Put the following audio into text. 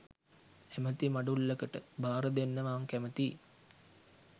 ඇමති මඬුල්ලකට භාරදෙන්න මං කැමතියි